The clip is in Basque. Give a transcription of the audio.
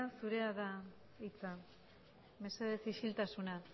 zurea da hitza mesedez isiltasuna